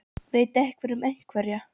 Veit einhver um einhverja?